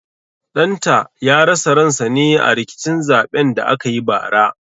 Ɗan ta ya rasa ran sa ne a rikicin zaɓen da aka yi bara